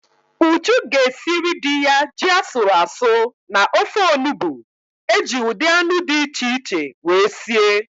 Uju ga-esiri di ya ji asụrụ asụ na ofe onubu eji ụdị anụ di iche iche wee sie